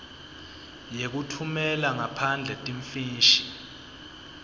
yekutfumela ngaphandle timfishi